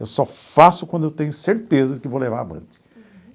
Eu só faço quando eu tenho certeza de que vou levar avante.